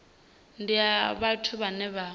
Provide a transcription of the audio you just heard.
ndi ya vhathu vhane vha